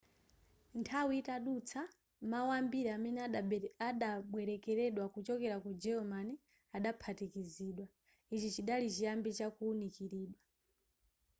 nthawi itadutsa mawu ambiri amene adabwelekedwa kuchokera ku german adaphatikizidwa ichi chidali chiyambi cha kuwunikilidwa